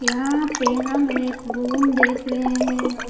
यहां पे हम एक रूम देख रहे हैं।